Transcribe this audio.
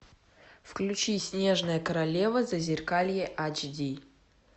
включи снежная королева зазеркалье эйч ди